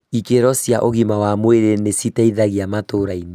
Ikĩro cia ũgima wa mwĩrĩ nĩ citeithagia matũrainĩ